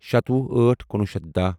شتوُہ أٹھ کُنوُہ شیٚتھ داہ